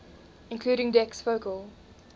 including dec's focal